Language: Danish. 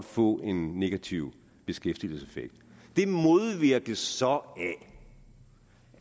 få en negativ beskæftigelseseffekt det modvirkes så